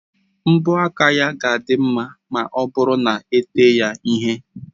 mbọ aka ya ga-adị mma ma ọ bụrụ na ete ya ihe